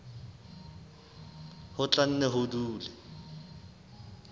ho tla nne ho dule